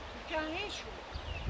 Qurtara bilmədi heç kim.